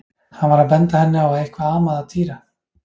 Hann var að benda henni á að eitthvað amaði að Týra.